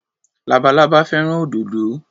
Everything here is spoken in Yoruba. Labalábá fẹ́ràn òdòdó.